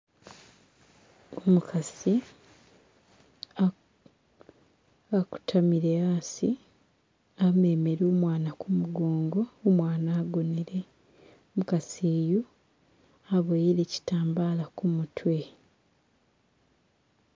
Umukasi asitamile asi amemele umwana kumugongo, umwana agonele. Umukasi yu aboyele shitambala kumutwe